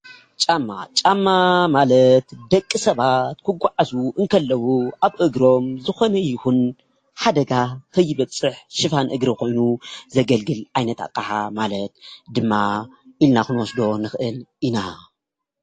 ጫማ፡- ጫማ ማለት ደቂ ሰባት ክጓዓዙ እንከለዉ ኣብ እግሮም ዝኮነ ይኩን ሓደጋ ከይበፅሕ ሽፋን እግሪ ኮይኑ ዘገልግል ዓይነታት ኣቅሓ ማለት ድማ ኢልና ክብወስዶ ንክእል ኢና፡፡